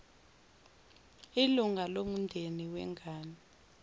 ilunga lomndeni wengane